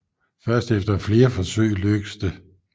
Først efter flere forsøg lykkes det